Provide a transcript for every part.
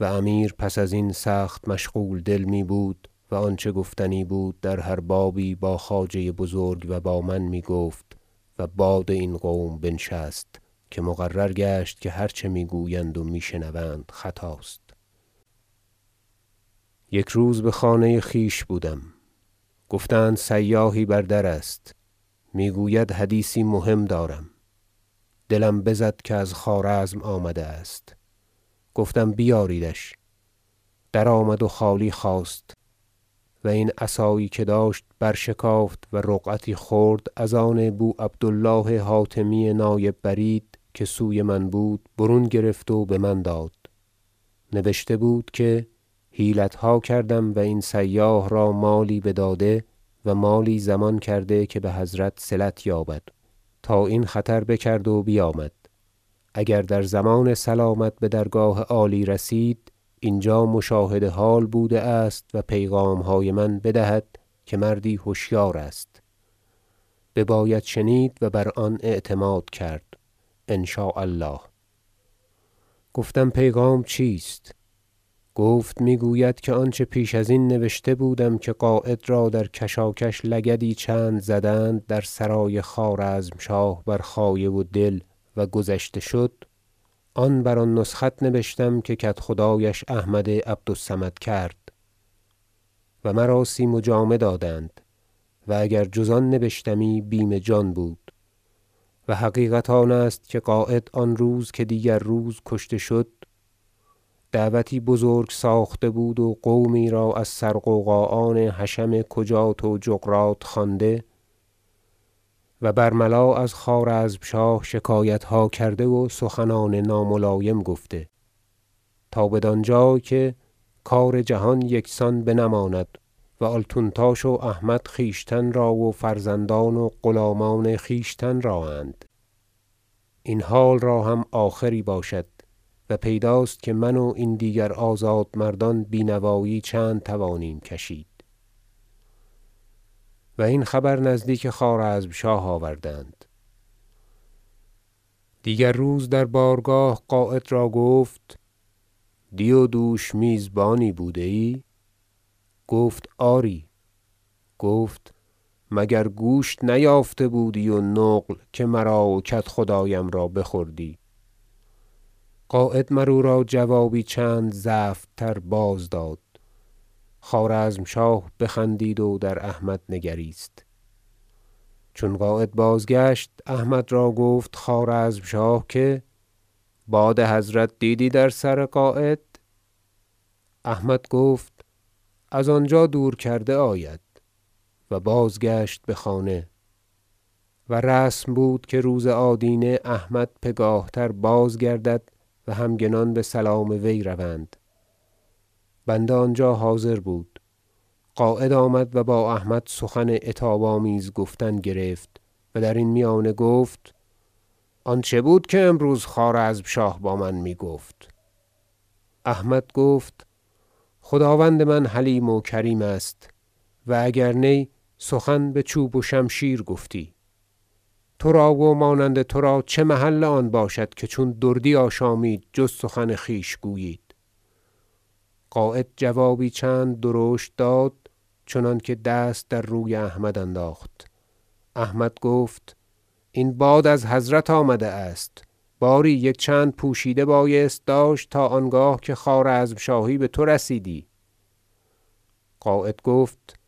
و امیر پس ازین سخت مشغول دل می بود و آنچه گفتنی بود در هر بابی با خواجه بزرگ و با من میگفت و باد این قوم بنشست که مقرر گشت که هر چه میگویند و میشنوند خطاست یک روز بخانه خویش بودم گفتند سیاحی بر در است میگوید حدیثی مهم دارم دلم بزد که از خوارزم آمده است گفتم بیاریدش در آمد و خالی خواست و این عصایی که داشت برشکافت و رقعتی خرد از آن بو عبد الله حاتمی نایب برید که سوی من بود برون گرفت و بمن داد نبشته بود که حیلتها کرده ام و این سیاح را مالی بداده و مالی ضمان کرده که بحضرت صلت یابد تا این خطر بکرد و بیامد اگر در ضمان سلامت بدرگاه عالی رسید اینجا مشاهد حال بوده است و پیغامهای من بدهد که مردی هشیار است بباید شنید و بر آن اعتماد کرد ان شاء الله گفتم پیغام چیست گفت میگوید که آنچه پیش ازین نوشته بودم که قاید را در کشاکش لگدی چند زدند در سرای خوارزمشاه بر خایه و دل و گذشته شد آن بر آن نسخت نبشتم که کدخدایش احمد عبد الصمد کرد و مراسیم و جامه دادند و اگر جز آن نبشتمی بیم جان بود و حقیقت آن است که قاید آن روز که دیگر روز کشته شد دعوتی بزرگ ساخته بود و قومی را از سر غوغا آن حشم کجات و جغرات خوانده و برملا از خوارزمشاه شکایتها کرده و سخنان ناملایم گفته تا بدان جای که کار جهان یکسان بنماند و آلتونتاش و احمد خویشتن را و فرزندان و غلامان خویشتن را اند این حال را هم آخری باشد و پیداست که من و این دیگر آزاد مردان بینوایی چند توانیم کشید و این خبر نزدیک خوارزمشاه آوردند دیگر روز در بارگاه قاید را گفت دی و دوش میزبانی بوده ای گفت آری گفت مگر گوشت نیافته بودی و نقل که مراو کدخدایم را بخوردی قاید مراو را جوابی چند زفت تر باز داد خوارزمشاه بخندید و در احمد نگریست چون قاید بازگشت احمد را گفت خوارزمشاه که باد حضرت دیدی در سر قاید احمد گفت از آنجا دور کرده آید و بازگشت بخانه و رسم بود که روز آدینه احمد پگاه تر بازگردد و همگنان بسلام وی روند بنده آنجا حاضر بود قاید آمد و با احمد سخن عتاب آمیز گفتن گرفت و درین میانه گفت آن چه بود که امروز خوارزمشاه با من میگفت احمد گفت خداوند من حلیم و کریم است و اگر نی سخن بچوب و شمشیر گفتی ترا و مانند ترا چه محل آن باشد که چون دردی آشامید جز سخن خویش گویید قاید جوابی چند درشت داد چنانکه دست در روی احمد انداخت احمد گفت این باد از حضرت آمده است باری یک چند پوشیده بایست داشت تا آنگاه که خوارزمشاهی بتو رسیدی قاید گفت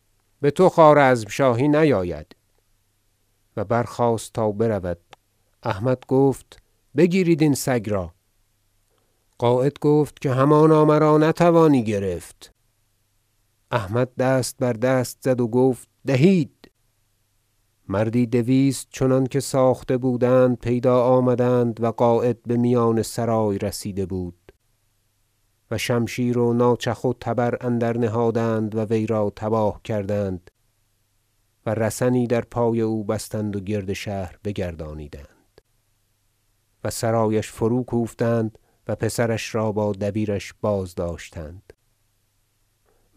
بتو خوارزمشاهی نیاید و برخاست تا برود احمد گفت بگیرید این سگ را قاید گفت که همانا مرا نتوانی گرفت احمد دست بر دست زد و گفت دهید مردی دویست چنانکه ساخته بودند پیدا آمدند و قاید بمیان سرای رسیده بود و شمشیر و ناچخ و تیر اندر نهادند و وی را تباه کردند و رسنی در پای او بستند و گرد شهر بگردانیدند و سرایش فرو کوفتند و پسرش را با دبیرش بازداشتند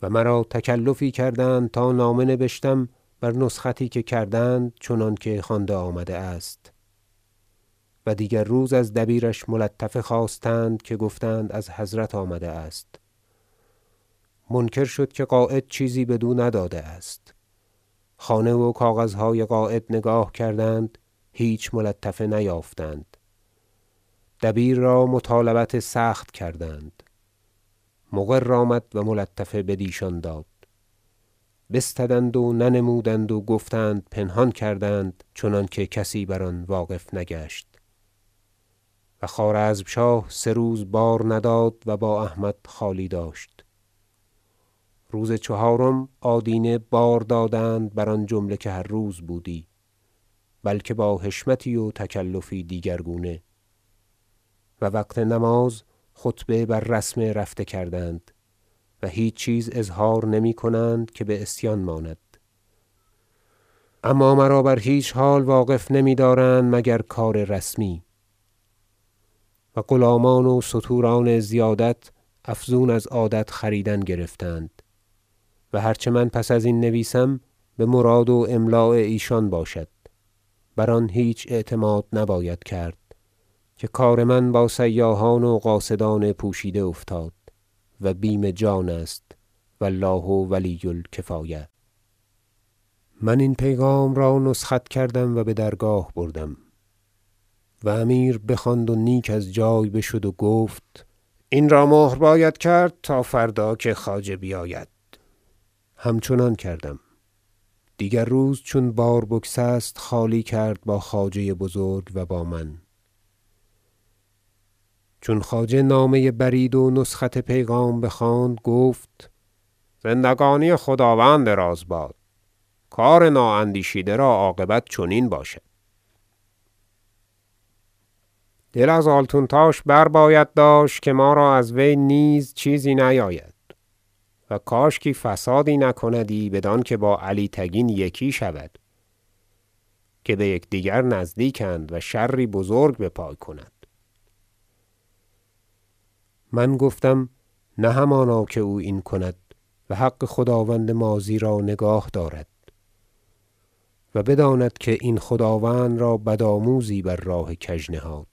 و مرا تکلفی کردند تا نامه نبشتم بر نسختی که کردند چنانکه خوانده آمده است و دیگر روز از دبیرش ملطفه خواستند که گفتند از حضرت آمده است منکر شد که قاید چیزی بدو نداده است خانه و کاغذهای قاید نگاه کردند هیچ ملطفه نیافتند دبیر را مطالبت سخت کردند مقر آمد و ملطفه بدیشان داد بستدند و ننمودند و گفتند پنهان کردند چنانکه کسی بر آن واقف نگشت و خوارزمشاه سه روز بار نداد و با احمد خالی داشت روز چهارم آدینه بار دادند بر آن جمله که هر روز بودی بلکه با حشمتی و تکلفی دیگر گونه و وقت نماز خطبه بر رسم رفته کردند و هیچ چیز اظهار نمی کنند که بعصیان ماند اما مرا بر هیچ حال واقف نمیدارند مگر کار رسمی و غلامان و ستوران زیادت افزون از عادت خریدن گرفتند و هر چه من پس ازین نویسم بمراد و املاء ایشان باشد بر آن هیچ اعتماد نباید کرد که کار من با سیاحان و قاصدان پوشیده افتاد و بیم جان است و الله ولی الکفایة من این پیغام را نسخت کردم و بدرگاه بردم و امیر بخواند و نیک از جای بشد و گفت این را مهر باید کرد تا فردا که خواجه بیاید همچنان کردم و دیگر روز چون بار بگسست خالی کرد با خواجه بزرگ و با من چون خواجه نامه نایب برید و نسخت پیغام بخواند گفت زندگانی خداوند دراز باد کار نااندیشیده را عاقبت چنین باشد دل از آلتونتاش بر باید داشت که ما را از وی نیز چیزی نیاید و کاشکی فسادی تولد نکندی بدانکه با علی تگین یکی شود که بیکدیگر نزدیک اند و شری بزرگ بپای کند من گفتم نه همانا که او این کند و حق خداوند ماضی را نگاه دارد و بداند که در این خداوند را بدآموزی بر راه کژ نهاد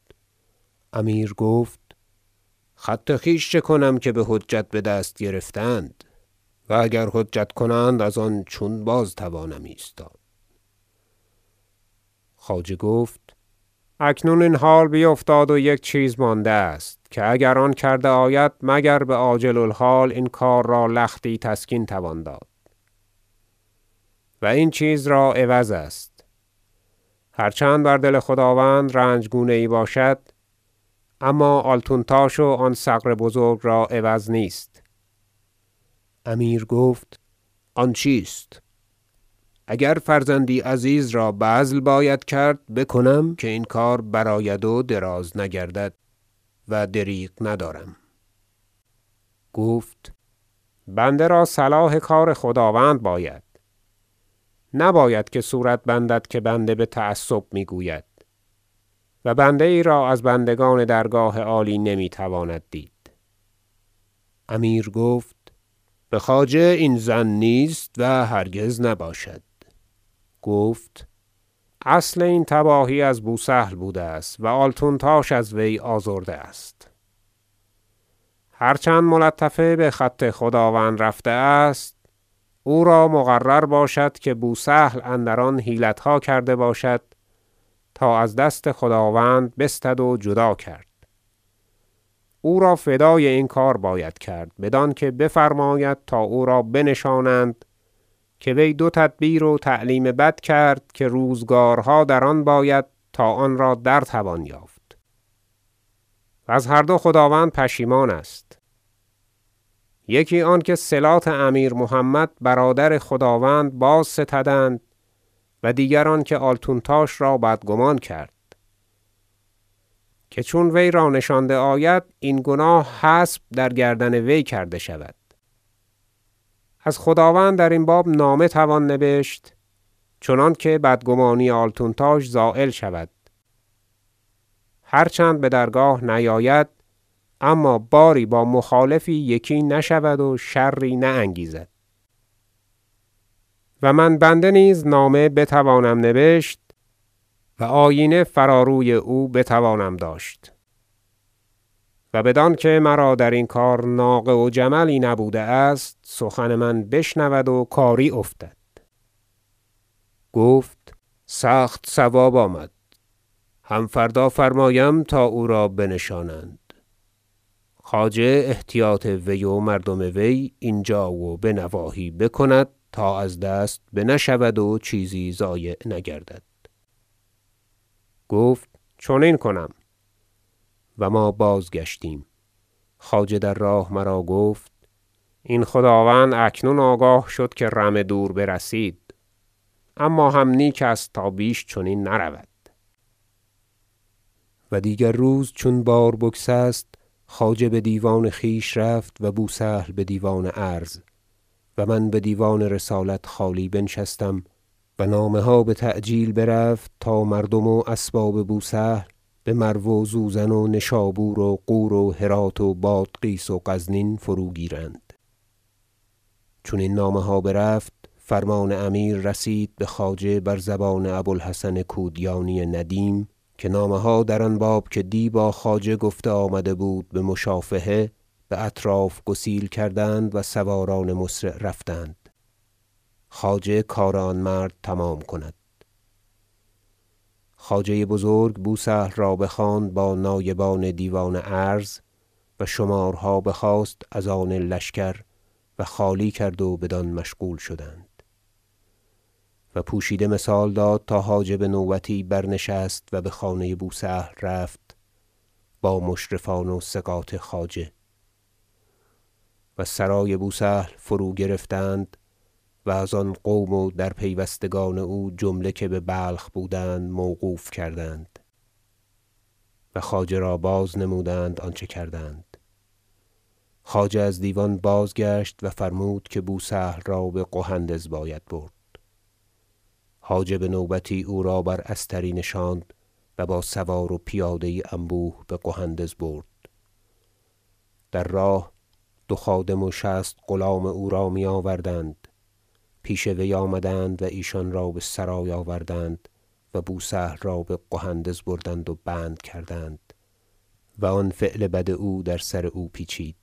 امیر گفت خط خویش چکنم که بحجت بدست گرفتند و اگر حجت کنند از آن چون بازتوانم ایستاد خواجه گفت اکنون این حال بیفتاد و یک چیز مانده است که اگر آن کرده آید مگر بعاجل الحال این کار را لختی تسکین توان داد و این چیز را عوض است هر چند بر دل خداوند رنج گونه یی باشد اما آلتونتاش و آن ثغر بزرگ را عوض نیست امیر گفت آن چیست اگر فرزندی عزیز را بذل باید کرد بکنم که این کار برآید و دراز نگردد و دریغ ندارم گفت بنده را صلاح کار خداوند باید نباید که صورت بندد که بنده بتعصب میگوید و بنده یی را از بندگان درگاه عالی نمیتواند دید امیر گفت بخواجه این ظن نیست و هرگز نباشد گفت اصل این تباهی از بوسهل بوده است و آلتونتاش از وی آزرده است هر چند ملطفه بخط خداوند رفته است او را مقرر باشد که بوسهل اندر آن حیلتها کرده باشد تا از دست خداوند بستد و جدا کرد او را فدای این کار باید کرد بدانکه بفرماید تا او را بنشانند که وی دو تدبیر و تعلیم بد کرد که روزگارها در آن باید تا آن را در توان یافت وز هر دو خداوند پشیمان است یکی آنکه صلات امیر محمد برادر خداوند بازستدند و دیگر آنکه آلتونتاش را بدگمان کرد که چون وی را نشانده آید این گناه حسب در گردن وی کرده شود از خداوند درین باب نامه توان نبشت چنانکه بدگمانی آلتونتاش زایل شود هر چند بدرگاه نیاید اما باری با مخالفی یکی نشود و شری نانگیزد و من بنده نیز نامه بتوانم نبشت و آیینه فرا روی او بتوانم داشت و بدانکه مرا درین کار ناقه و جملی نبوده است سخن من بشنود و کاری افتد گفت سخت صواب آمد هم فردا فرمایم تا او را بنشانند خواجه احتیاط وی و مردم وی اینجا و بنواحی بکند تا از دست بنشود و چیزی ضایع نگردد گفت چنین کنم و ما بازگشتیم خواجه در راه مرا گفت این خداوند اکنون آگاه شد که رمه دور برسید اما هم نیک است تا بیش چنین نرود و دیگر روز چون بار بگسست خواجه بدیوان خویش رفت و بوسهل بدیوان عرض و من بدیوان رسالت خالی بنشستم و نامه ها بتعجیل برفت تا مردم و اسباب بوسهل بمرو و زوزن و نشابور و غور و هرات و بادغیس و غزنین فروگیرند چون این نامه ها برفت فرمان امیر رسید بخواجه بر زبان ابو الحسن کودیانی ندیم که نامه ها در آن باب که دی با خواجه گفته آمده بود بمشافهه باطراف گسیل کردند و سواران مسرع رفتند خواجه کار آن مرد تمام کند خواجه بزرگ بوسهل را بخواند با نایبان دیوان عرض و شمارها بخواست از آن لشکر و خالی کرد و بدان مشغول شدند و پوشیده مثال داد تا حاجب نوبتی برنشست و بخانه بوسهل رفت با مشرفان و ثقات خواجه و سرای بوسهل فروگرفتند و از آن قوم و در پیوستگان او جمله که ببلخ بودند موقوف کردند و خواجه را بازنمودند آنچه کردند خواجه از دیوان بازگشت و فرمود که بوسهل را بقهندز باید برد حاجب نوبتی او را بر استری نشاند و با سوار و پیاده یی انبوه بقهندز برد در راه دو خادم و شصت غلام او را میآوردند پیش وی آمدند و ایشان را بسرای آوردند و بوسهل را بقهندز بردند و بند کردند و آن فعل بد او در سر او پیچید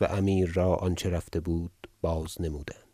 و امیر را آنچه رفته بود بازنمودند